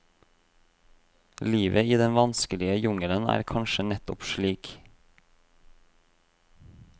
Livet i den vanskelige jungelen er kanskje nettopp slik.